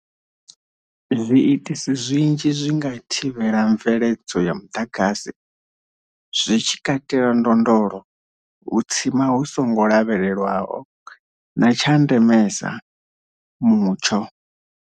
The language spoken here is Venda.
Zwiitisi zwinzhi zwi nga thivhela mveledzo ya muḓagasi, zwi tshi katela ndondolo, u tsima hu songo lavhelelwaho na, tsha ndemesa, mutsho.